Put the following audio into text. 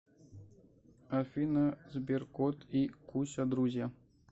афина сберкот и куся друзья